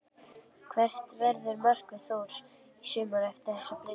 Hvert verður markmið Þórs í sumar eftir þessar breytingar?